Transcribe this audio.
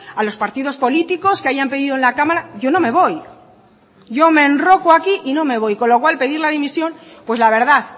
a los partidos políticos que hayan pedido en la cámara yo no me voy yo me enroco aquí y no me voy con lo cual pedir la dimisión pues la verdad